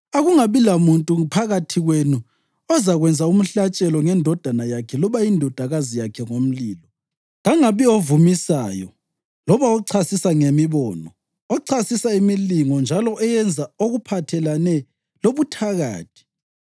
Akungabi lamuntu phakathi kwenu ozakwenza umhlatshelo ngendodana yakhe loba indodakazi yakhe ngomlilo, kangabi ovumisayo loba ochasisa ngemibono, ochasisa imilingo njalo oyenza okuphathelane lobuthakathi,